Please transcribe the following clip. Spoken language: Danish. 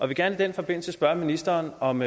vil gerne i den forbindelse spørge ministeren om